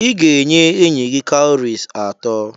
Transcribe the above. Ị ga-enye enyi gị cowries atọ.